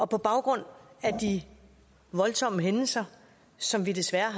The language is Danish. på baggrund af de voldsomme hændelser som vi desværre